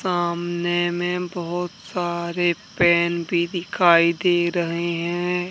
सामने में बहुत सारे पेन भी दिखाई दे रहे हैं।